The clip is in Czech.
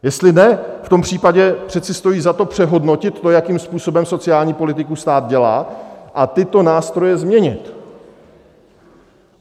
Jestli ne, v tom případě přece stojí za to přehodnotit to, jakým způsobem sociální politiku stát dělá, a tyto nástroje změnit.